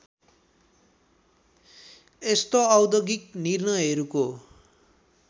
यस्ता औद्योगिक निर्णहरूको